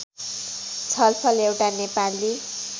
छलफल एउटा नेपाली